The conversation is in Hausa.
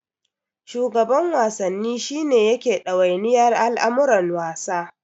Shugaban Wasanni shi ne yake ɗawainiyar al'amuran wasa.